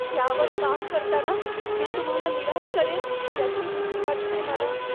त्यावर काम करताना मी तुम्हाला निराश करेन याची भीती वाटते मला.